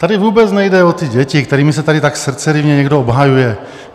Tady vůbec nejde o ty děti, kterými se tady tak srdceryvně někdo obhajuje.